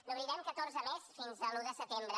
n’obrirem catorze més fins a l’un de setembre